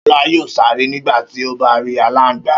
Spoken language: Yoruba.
Ṣọlá yóò sáré nígbà tí ó bá rí aláǹgbá.